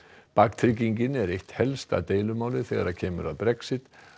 baktryggingin er eitt helsta deilumálið þegar kemur að Brexit